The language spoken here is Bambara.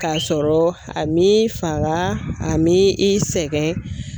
K'a sɔrɔ a m'i faga a m'i i sɛgɛn.